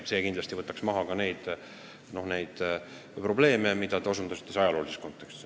See kindlasti võtaks maha ka neid probleeme, millele te osutasite ajaloolises kontekstis.